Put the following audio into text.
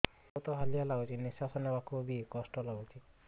ବହୁତ୍ ହାଲିଆ ଲାଗୁଚି ନିଃଶ୍ବାସ ନେବାକୁ ଵି କଷ୍ଟ ଲାଗୁଚି